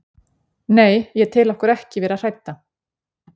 Nei, ég tel okkur ekki vera hrædda.